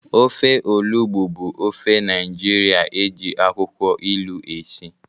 Ofe Olugbu bụ ofe Naijiria eji akwụkwọ ilu esi.